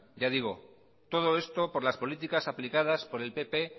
ya digo todo esto por las políticas aplicadas por el pp